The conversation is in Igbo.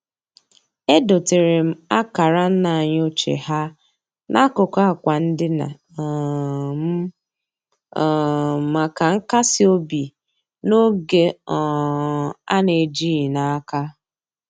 Edoteere m akara nna anyị ochie ha n'akụkụ akwa ndina um m um maka nkas obi n'oge um a na-ejighị n'aka.